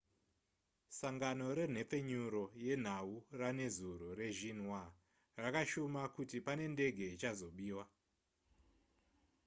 sangano renhepfenyuro yenhau ranezuro rexinhua rakashuma kuti pane ndege ichazobiwa